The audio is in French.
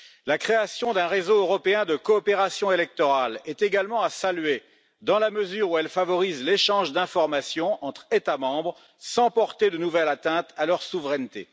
La création d'un réseau européen de coopération électorale est également à saluer dans la mesure où elle favorise l'échange d'informations entre États membres, sans porter de nouvelle atteinte à leur souveraineté.